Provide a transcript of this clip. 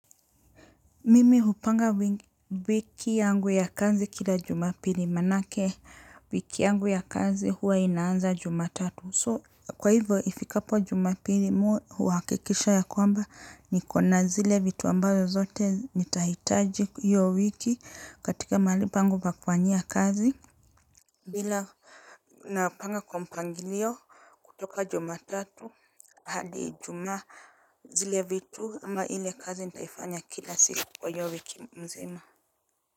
Mimi hupanga wiki yangu ya kazi kila jumapili manake wiki yangu ya kazi huwa inaanza jumatatu so kwa hivyo ifikapo jumapili mimi huhakikisha ya kwamba nikona zile vitu ambazo zote nitahitaji hiyo wiki katika mahali pangu pa kufanyia kazi. Bila napanga kwa mpangilio kutoka jumatatu hadi juma zile vitu ama ile kazi nitaifanya kila siku kwa hiyo wiki mzima.